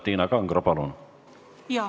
Tiina Kangro, palun!